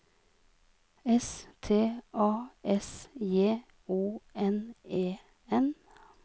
S T A S J O N E N